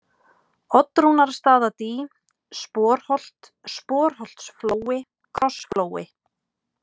Oddrúnarstaðadý, Sporholt, Sporholtsflói, Krossflói